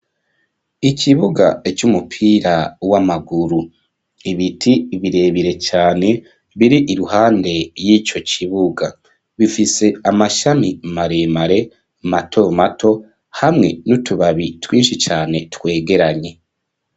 Ikibuga c'umupira w'amaguru ibiti; birebire cyane biri iruhande y'ico kibuga bifise amashami maremare mato mato hamwe n'utubabi twinshi cyane twegeranye.